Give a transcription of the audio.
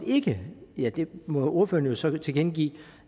ikke ja det må ordføreren så tilkendegive